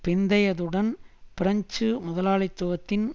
பிந்தையதுடன் French முதலாளித்துவத்தின்